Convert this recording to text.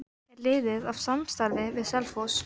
Er liðið í samstarfi við Selfoss?